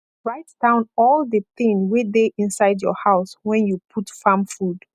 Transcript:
write down all the thing wey dey inside your house wen you put farm food